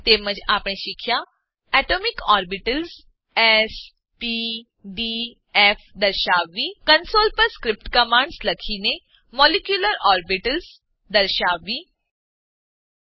તેમજ આપણે શીખ્યા atomic orbitals S P D F દર્શાવવી કન્સોલ કંસોલ પર સ્ક્રિપ્ટ કમાન્ડ્સ સ્ક્રીપ્ટ કમાંડો લખીને molecular orbitals SP three SP two and SP દર્શાવવી